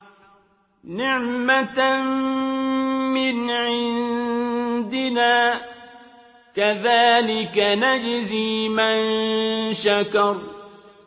نِّعْمَةً مِّنْ عِندِنَا ۚ كَذَٰلِكَ نَجْزِي مَن شَكَرَ